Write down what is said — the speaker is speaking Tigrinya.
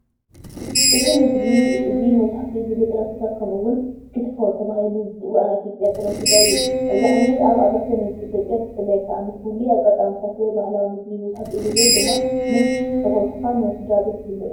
እዚ ምግቢ እዚ መብዛሕትኡ ግዜ ጥረ ስጋ ከምኡውን "ኪትፎ" ተባሂሉ ዝፅዋዕ ናይ ኢትዮጵያ ጥረ ስጋ እዩ። እዚ ዓይነት ኣብ ኣብያተ-ምግቢ ኢትዮጵያ ብፍላይ ከኣ ንፍሉይ ኣጋጣሚታት ወይ ባህላዊ ምግቢ መብዛሕትኡ ግዜ ድማ ምስ ፈተውትካን ወይ ስድራቤት ይበልዑ።